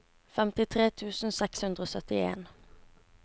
femtitre tusen seks hundre og syttien